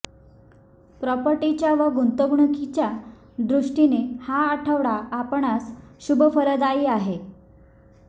प्रॉपर्टीच्या व गुंतवणूकीच्या दृष्टीने हा आठवडा आपणांस शुभफलदायी आहे